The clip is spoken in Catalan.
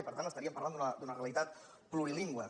per tant estaríem parlant d’una realitat plurilingüe